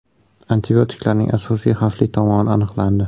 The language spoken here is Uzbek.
Antibiotiklarning asosiy xavfli tomoni aniqlandi.